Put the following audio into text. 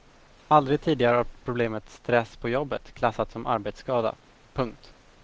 Aldrig tidigare har problemet stess på jobbet klassats som arbetskada. punkt